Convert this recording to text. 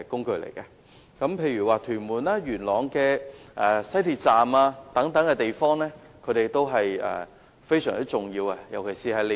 居民如要前往屯門或元朗的西鐵站，單車對他們來說都是非常重要的接駁工具。